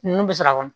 Nunnu bɛ sɔrɔ a kɔnɔ